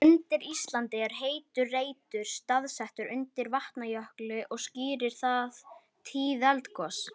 Einn meginþáttur þeirra er sú kenning að heimurinn samanstandi af einangruðum mónöðum.